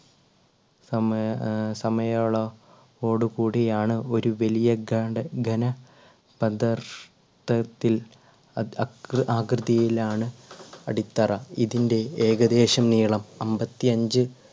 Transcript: സമയ ആ സമയോള കോട്കൂടിയാണ്. ഒരു വലിയ ഘ~ഘന പ്രദർശത്തത്തിൽ അഅകൃ~ആകൃതിയിലാണ് അടിത്തറ ഇതിൻറെ ഏകദേശം നീളം അൻപത്തിയഞ്ച്